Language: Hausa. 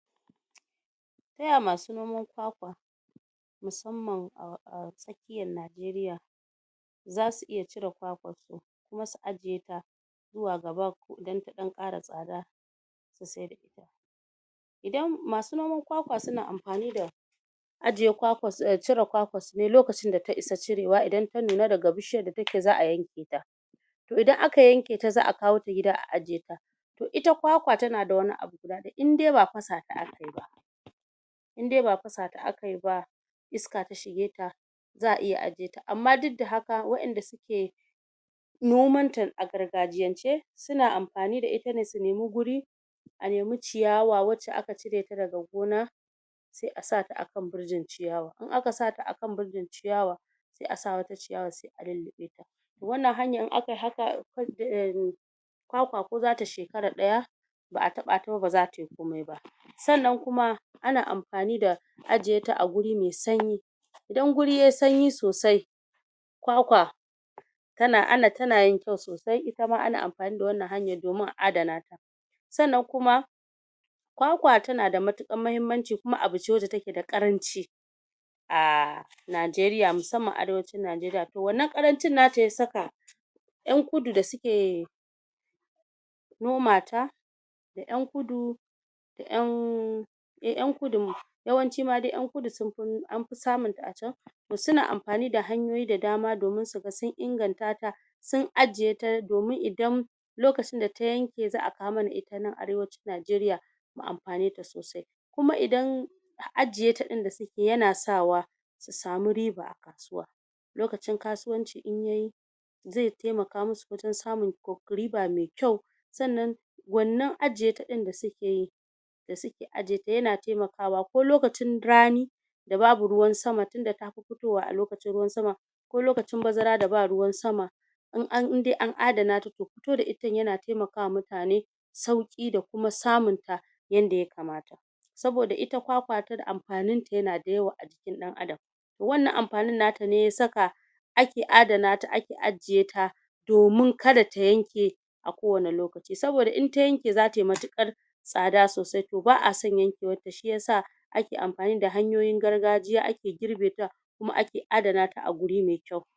Taya ma su noman kwakwa musamman a tsakiyar Nigeria, za su iya cire kwakwarsu, kuma su ajiye ta zuwa gaba dan ta ɗan ƙara tsada su saida ita, idan...masu noman kwakwa su na amfani da ajiye kwakwassu...cire kwakwarsu ne lokacin da ta isa cirewa idan ta nuna daga bishiyar da ta ke za'a yanke ta, idan aka yanke ta za'a kawota gida a ajiye ta, to ita kwakwa ta na da wani abu guda ɗaya inde ba fasa ta aka yi ba, inde ba fasa ta aka yi ba iska ta shige ta, za'a iya ajiye ta, amma duk da haka waɗanda su ke nomanta a gargajiyence su na amfani da ita ne su nemi guri a nemi ciyawa wacce aka cireta daga gona, sai a sata akan birjin ciyawa, in aka sata akan birjin ciyawa sai a sa wata ciyawai sai a lulluɓe ta, wannan hanyar in akai haka kwakwa ko za ta shekara ɗaya ba'a taɓa ta ba, ba za tai komi ba, sannan kuma ana amfani da ajiye ta a guri mai sanyi idan guri yai sanyi sosai kwakwa ta na.. ana.. ta na yin kyau sosai, ana amfani da wannan hanyar domin a adana ta, sannan kuma kwakwa ta na da matuƙar mahimmanci kuma abu ce da take da ƙaranci, a Nigeria musamman arewacin Nigeria, to wannan ƙarancin na ta ya sak 'yan kudu da su ke noma ta da 'yan kudu da 'yan..... eh 'yan kudun yawanci ma dai 'yan kudu anfi samunta a can, to su na amfani da hanyoyi da dama domin su ga sun ingantata sun ajiye ta domin idan lokacin da ta yanke za'a kawo mana ita nan arewacin nigeria mu amfaneta sosai, kuma idan ajie ta ɗin da su ke ya na sawa su samu riba a kasuwa, lokacin kasuwanci in yayi kasuwa, lokacin kasuwanci in yayi zai taimaka ma su wajen samun riba mai kyau, sannan wannan ajiye ta ɗin da su ke yi da su ke aje ta yana taimakawa, ko lokacin rani da babu ruwan sama tunda tafi fitowa a lokacin ruwan sama, ko lokacin bazara da ba ruwan sama in an...inde an adana ta to fito da ita ɗin ya na taimaka ma mutane, sauƙi da kuma samunta yanda ya kamata, saboda ita kwakwa amfaninta ya na da yawa a jikin ɗan adam wannan amfanin nata ne ya saka ake adana ta ake aje ta, domin kada ta yanke a kowane lokaci, saboda in ta yanke za ta yi matuƙar tsada sosai to ba'a son yankewarta shiyasa ake amfani da hanyoyin gargajiya ake girbeta kuma ake adana ta a guri mai kyau.